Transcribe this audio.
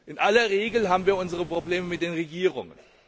In aller Regel haben wir unsere Probleme mit den Regierungen.